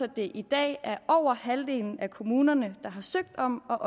det i dag er over halvdelen af kommunerne der har søgt om og